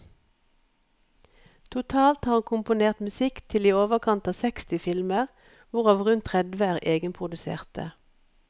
Totalt har han komponert musikk til i overkant av seksti filmer, hvorav rundt tredve er egenproduserte.